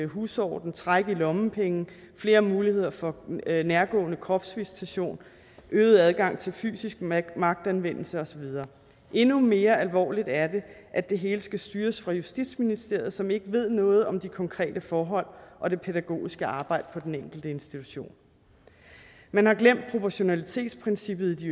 husorden træk i lommepenge flere muligheder for nærgående kropsvisitation øget adgang til fysisk magtanvendelse og så videre endnu mere alvorligt er det at det hele skal styres fra justitsministeriet som ikke ved noget om de konkrete forhold og det pædagogiske arbejde på den enkelte institution man har glemt proportionalitetsprincippet i